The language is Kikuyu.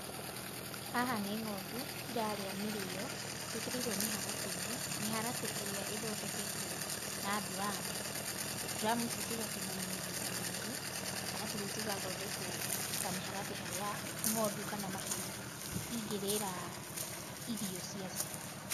Haha nĩ ng'ondu irarĩa mĩrĩyo ciĩkĩrĩirwo mĩharatĩ-inĩ, mĩharatĩ ĩrĩa ithondeketwo na nduramu. Nduramu ici cigatinanio maita merĩ arabu rĩu cigathondekwo ta mĩharatĩ harĩa ng'ondũ kana mahĩu ingĩrĩra irio cia cio.